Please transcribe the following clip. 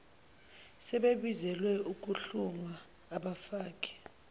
sebebizelwe ukuhlungwa abfake